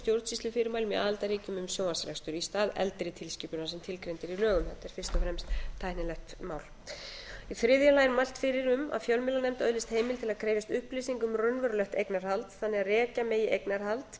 stjórnsýslufyrirmælum í aðildarríkjunum um sjónvarpsrekstur í stað eldri tilskipunar sem tilgreind er í lögum þetta er fyrst og fremst tæknilegt mál í þriðja lagi er mælt fyrir um að fjölmiðlanefnd öðlist heimild til að krefjast upplýsinga um raunverulegt eignarhald